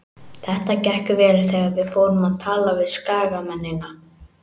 Þetta gekk vel þegar við fórum að tala við skagamennina.